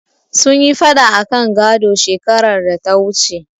Sun yi faɗa akan gado, shekarar data wuce.